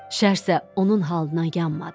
Şərsə onun halına yanmadı.